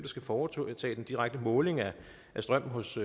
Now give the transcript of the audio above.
skal foretage den direkte måling af strøm hos